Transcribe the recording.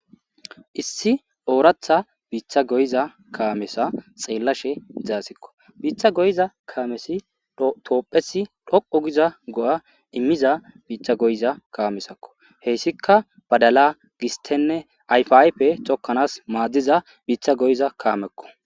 issi ooratha biitha goyiza kaamesa xeellashe zaasekko biitha goyza kaamesi toophesi dhoqo giza go7a immiza biiththa goyiza kaamesakko heyssika badala gistenne ayfiaype cokkanas maaddiza biitha goyiza kaamekko